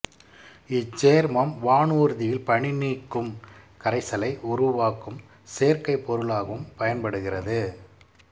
இச்சேர்மம் வானூர்தியில் பனிநீக்கும் கரைசலை உருவாக்கும் சேர்க்கைப் பொருளாகவும் பயன்படுகிறது